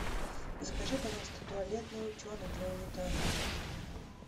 закажи пожалуйста туалетный утенок для унитаза